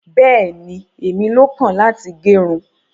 Bẹẹni, ẹmi ló kan láti gẹrún.